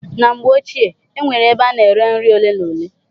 Na mgbe ochie, e nwere ebe a na-ere nri ole na ole.